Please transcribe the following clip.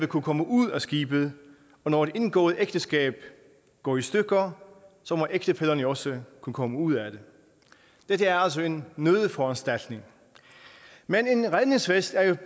kunne komme ud af skibet og når et indgået ægteskab går i stykker må ægtefællerne jo også kunne komme ud af det dette er altså en nødforanstaltning men en redningsvest er jo